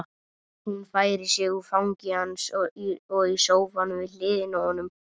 Hún færir sig úr fangi hans og í sófann við hliðina á honum.